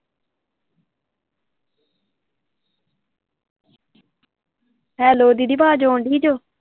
Hello ਦੀਦੀ ਅਵਾਜ਼ ਆਉਣ ਦੀ ਜੋ।